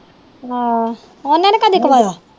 ਆਹ ਉਹਨੇ ਨੀ ਕਦੇ